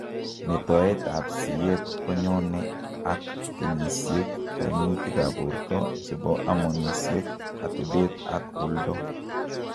Metoet ab sieet konyone ak kenyisiek, kaimutik ab borto, chebo hormonisiek, atebet ak oldoo